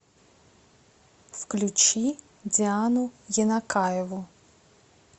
включи диану енакаеву